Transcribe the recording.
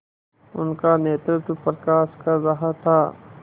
उनका नेतृत्व प्रकाश कर रहा था